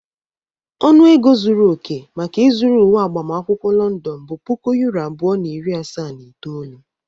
Ọnụ ego zuru oke maka ịzụrụ uwe agbamakwụkwọ London bụ puku euro abụọ na iri asaa na itoolu.